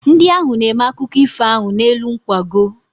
Ndị ahụ na-eme akụkụ ifo ahụ n'elu nkwago.